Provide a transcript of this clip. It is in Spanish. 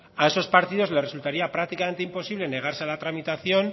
a esos partidos les resultaría prácticamente imposible negarse a la tramitación